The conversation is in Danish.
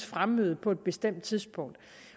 fremmøde på et bestemt tidspunkt